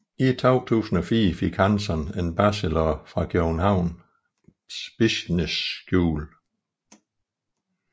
I 2004 fik Hansson en bachelor fra Copenhagen Business School